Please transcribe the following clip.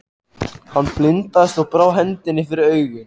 Hann blindaðist og brá hendinni fyrir augun.